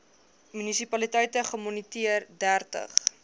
munisipaliteite gemoniteer dertig